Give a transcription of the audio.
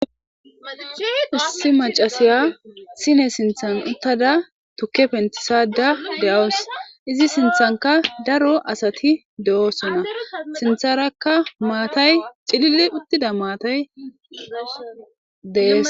ussi macasiya sine sinthan uttada tuke pentisada de7awus izi sinthanka daro asati de7osona sintharakka maatay cililli uttida maatay deees